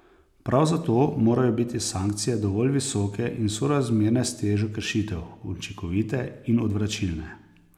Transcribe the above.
Prav zato morajo biti sankcije dovolj visoke in sorazmerne s težo kršitev, učinkovite in odvračilne.